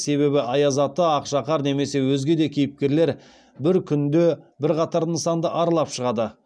себебі аяз ата ақшақар немесе өзге де кейіпкерлер бір күнде бірқатар нысанды аралап шығады